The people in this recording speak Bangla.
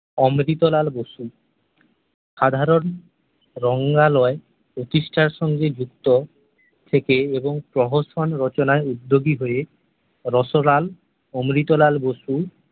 অমৃতলাল বসু সাধারণ রঙ্গালয়ে প্রতিষ্ঠার সঙ্গে যুক্ত থেকে এবং প্রহসন রচনায় উদ্যোগী হয় রসলাল অমৃতলাল বসু